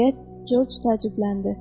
Deyə Corc təəccübləndi.